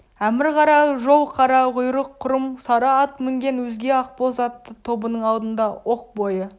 әмір қара жал қара құйрық құрым сары ат мінген өзге ақбоз атты тобының алдында оқ бойы